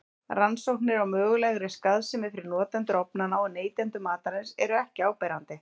Rannsóknir á mögulegri skaðsemi fyrir notendur ofnanna og neytendur matarins eru ekki áberandi.